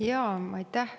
Aitäh!